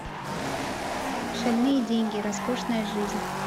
шальные деньги роскошная жизнь